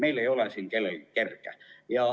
Meil kellelgi ei ole siin kerge.